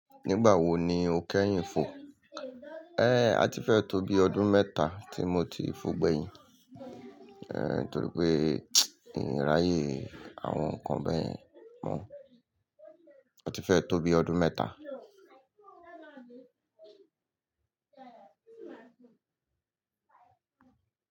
Nígbà wo ni o kẹ́yìn fò? Ée a ti fẹ́ tó bí ọdún mẹ́ta tí mo ti fò gbẹ̀yìn, ẹ torí pé n raye àwọn nǹkan bẹ́yẹn mọ́. A ti fẹ́ tó bí ọdún mẹ́ta.